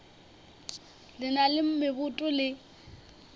le na le meboto le